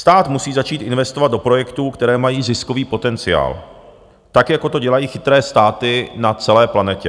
Stát musí začít investovat do projektů, které mají ziskový potenciál, tak jako to dělají chytré státy na celé planetě.